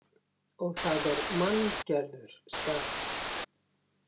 Og það er manngerður staður.